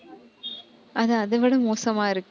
அது, அதைவிட மோசமா இருக்கு